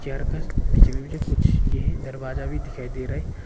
Chair का पीछे में भी जो कुछ ये है दरवाजा भी दिखाई दे रहा है।